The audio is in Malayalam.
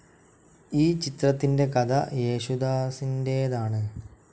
ഈ ചിത്രത്തിൻ്റെ കഥ യേശുദാസിൻ്റേതാണ്.